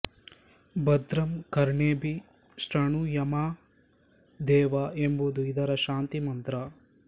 ಭದ್ರಂ ಕರ್ಣೇಭಿಃ ಶೃಣು ಯಾಮ ದೇವಾಃ ಎಂಬುದು ಇದರ ಶಾಂತಿಮಂತ್ರ